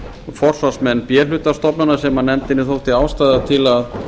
forsvarsmenn b hluta stofnana sem nefndinni þótti ástæða til að